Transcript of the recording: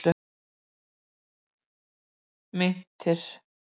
Meintir